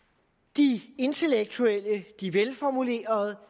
de intellektuelle og de velformulerede